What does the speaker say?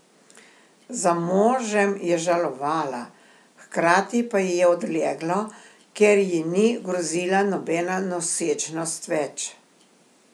Za možem je žalovala, hkrati pa ji je odleglo, ker ji ni grozila nobena nosečnost več.